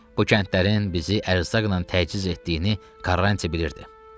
Bu kəndlərin bizi ərzaqla təchiz etdiyini Karanti bilirdi.